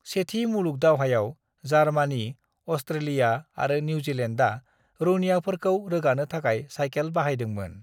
"सेथि मुलुग दावहायाव, जार्मानी, अस्ट्रेलिया आरो निउजिलेन्दआ रौनियाफोरखौ रोगानो थाखाय सायखेल बाहायदोंमोन।"